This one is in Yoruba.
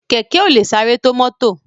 Kẹ̀kẹ́ ò lè sáré tó mọ́tò